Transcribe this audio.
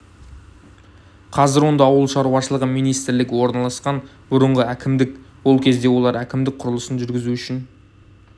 қазір онда ауыл шаруашылығы министрлігі орналасқан бұрынғы әкімдік ол кезде олар әкімдік құрылысын жүргізу үшін